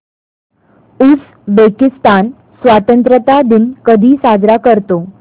Uzbekistan स्वतंत्रता दिन कधी साजरा करतो